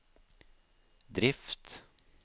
drift